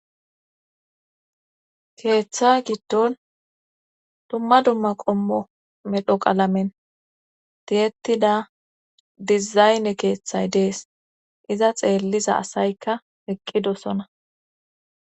Keeththa giddon dumma dumma qommo medho qalamen tiyettida dizayne keeththay dees iza xeelliza asaykka eqqidosona.